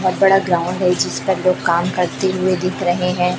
बहोत बड़ा ग्राउंड है जिस पे लोग काम करते हुए दिख रहे हैं।